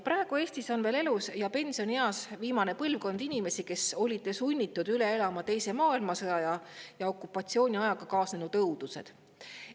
Praegu on Eestis veel elus ja pensionieas viimane põlvkond inimesi, kes olid sunnitud üle elama teise maailmasõja ja okupatsiooniajaga kaasnenud õudused.